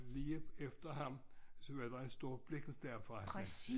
Lige efter ham så var der en stor blikkenslagerforretning